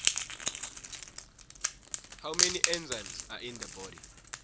how many enzymes are in the body